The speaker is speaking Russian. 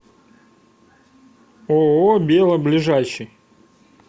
ооо бело ближайший